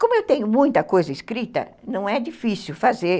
Como eu tenho muita coisa escrita, não é difícil fazer.